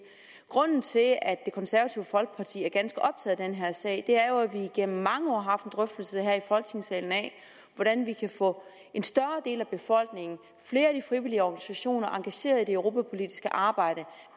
grunden til at at det konservative folkeparti er ganske optaget af den her sag er jo at vi igennem mange år har haft en drøftelse her i folketingssalen af hvordan vi kan få en større del af befolkningen og flere af de frivillige organisationer engageret i det europapolitiske arbejde